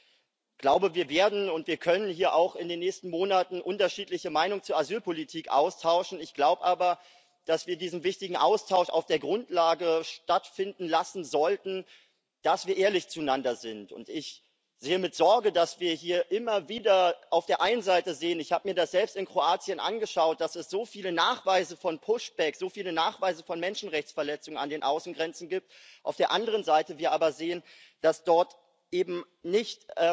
Ich glaube, wir werden und wir können hier auch in den nächsten Monaten unterschiedliche Meinungen zur Asylpolitik austauschen, ich glaube aber, dass wir diesen wichtigen Austausch auf der Grundlage stattfinden lassen sollten, dass wir ehrlich zueinander sind. Ich sehe mit Sorge, dass wir hier immer wieder auf der einen Seite sehen ich habe mir das selbst in Kroatien angeschaut dass es so viele Nachweise von so viele Nachweise von Menschenrechtsverletzungen an den Außengrenzen gibt, dass wir aber auf der anderen Seite sehen, dass dort eben nicht